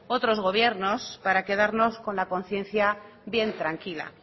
otros gobiernos para quedarnos con la conciencia bien tranquila